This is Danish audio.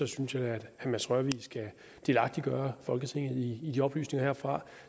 synes jeg at herre mads rørvig skal delagtiggøre folketinget i de oplysninger derfra